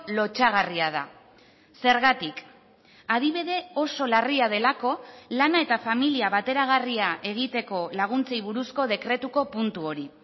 lotsagarria da zergatik adibide oso larria delako lana eta familia bateragarria egiteko laguntzei buruzko dekretuko puntu hori